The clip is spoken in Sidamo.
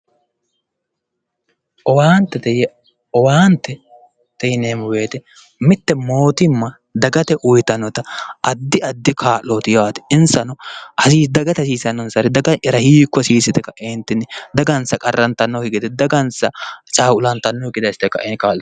Owaantete yaa ,owaantete yinneemmo woyte mite mootimma dagate uyittanotta addi addi kaa'loti yaate insano alinni dagate hasiisanonsare daga'yara hiikku hasiisino yte kaentinni dagansa qarrantanokki gede dagansa caqulattanokki gede assite kae kaa'littano.